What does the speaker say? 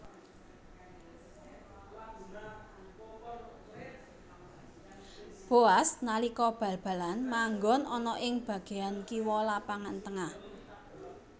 Boaz nalika bal balan manggon ana ing bageyan kiwa lapangan tengah